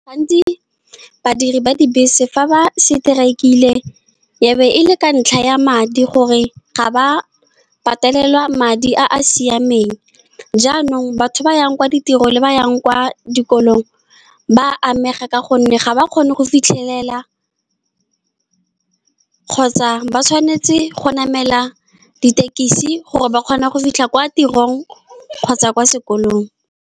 Gantsi, badiri ba dibese fa ba seteraikile, e be e le ka ntlha ya madi, gore ga ba patelelwa madi a a siameng. Jaanong, batho ba yang kwa ditiro le ba ba yang kwa dikolong ba amega, ka gonne ga ba kgone go fitlhelela kgotsa ba tshwanetse go namela ditekisi gore ba kgone go fitlha kwa tirong kgotsa kwa sekolong.